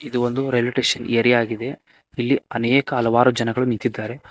ಇದು ಒಂದು railway station area ಆಗಿದೆ ಇಲ್ಲಿ ಅನೇಕ ಹಲವಾರು ಜನಗಳು ನಿಂತಿದ್ದಾರೆ.